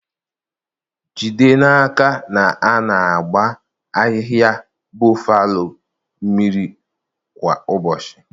Jide n'aka na a na-agba ahịhịa boffalo mmiri kwa ụbọchị.